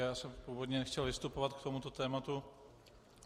Já jsem původně nechtěl vystupovat k tomuto tématu.